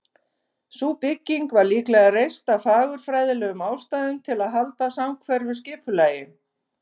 Sú bygging var líklega reist af fagurfræðilegum ástæðum, til að halda samhverfu skipulagi.